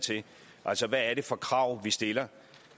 til altså hvad er det for krav vi stiller